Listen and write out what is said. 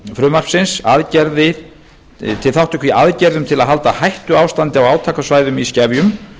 frumvarpsins til þátttöku í aðgerðum til að halda hættuástandi á átakasvæðum í skefjum